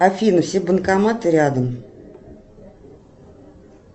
афина все банкоматы рядом